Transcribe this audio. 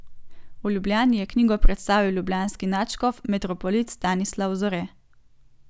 V Ljubljani je knjigo predstavil ljubljanski nadškof metropolit Stanislav Zore.